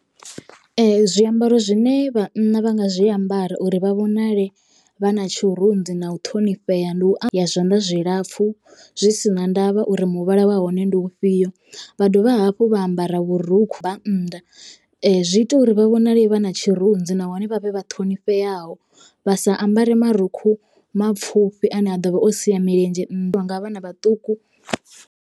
Zwiambaro zwine vhanna vha nga zwiambara uri vha vhonale vha na tshirunzi na u ṱhonifhea ndi u zwa zwanḓa zwilapfhu zwi sina ndavha uri muvhala wa hone ndi ufhio vha dovha hafhu vha ambara vhurukhu vha nnḓa zwi ita uri vha vhonale vha na tshirunzi nahone vhavhe vha ṱhonifheaho vha sa ambare marukhu mapfufhi ane a ḓovha o sia milenzhe nnḓa nga vhana vhaṱuku.